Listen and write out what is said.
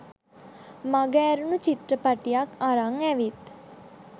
මග ඇරුනු චිත්‍රපටියක් අරං ඇවිත්